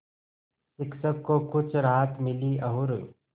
शिक्षक को कुछ राहत मिली और